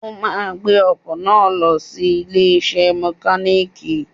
O máa gbé ọkọ̀ náà lọ sí ilé iṣẹ́ mọkálíìkì.